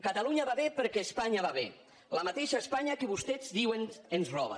catalunya va bé perquè espanya va bé la mateixa espanya que vostès diuen ens roba